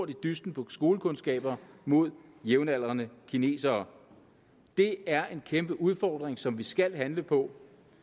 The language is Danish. dysten på skolekundskaber mod jævnaldrende kinesere det er en kæmpe udfordring som vi skal handle på